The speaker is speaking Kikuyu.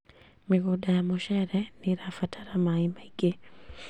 Mĩgũnda ya mũcere nĩĩrabatara maĩ maingĩ